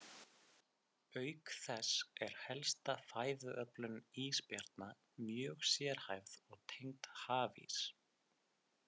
Auk þess er helsta fæðuöflun ísbjarna mjög sérhæfð og tengd hafís.